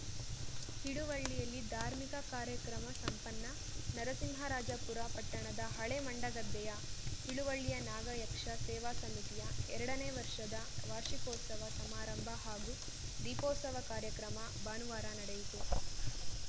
ಹಿಳುವಳ್ಳಿಯಲ್ಲಿ ಧಾರ್ಮಿಕ ಕಾರ್ಯಕ್ರಮ ಸಂಪನ್ನ ನರಸಿಂಹರಾಜಪುರ ಪಟ್ಟಣದ ಹಳೇ ಮಂಡಗದ್ದೆಯ ಹಿಳುವಳ್ಳಿಯ ನಾಗಯಕ್ಷ ಸೇವಾ ಸಮಿತಿಯ ಎರಡನೇ ವರ್ಷದ ವಾರ್ಷಿಕೋತ್ಸವ ಸಮಾರಂಭ ಹಾಗೂ ದೀಪೋತ್ಸವ ಕಾರ್ಯಕ್ರಮ ಭಾನುವಾರ ನಡೆಯಿತು